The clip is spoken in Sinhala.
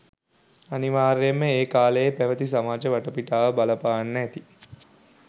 අනිවාර්යෙන්ම ඒ කාලයේ පැවති සමාජ වටපිටාව බලපාන්න ඇති